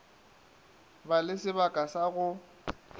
ba le sebaka sa go